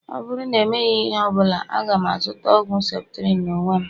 Ọ bụrụ na emeghị ihe ọ bụla, aga m azụta ọgwụ septrin n'onwe m